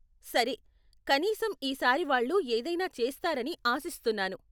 సరే, కనీసం ఈ సారి వాళ్ళు ఏదైనా చేస్తారని ఆశిస్తున్నాను.